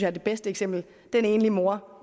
er det bedste eksempel den enlige mor